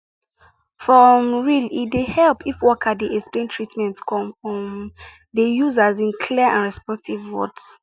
for um real e dey help if worker dey explain treatment come um dey use as in clear and respectful words